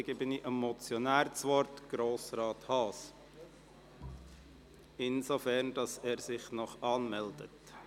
Dann erteile ich Grossrat Haas das Wort, aber er muss sich noch als Redner anmeldet.